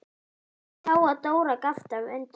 Hún sá að Dóra gapti af undrun.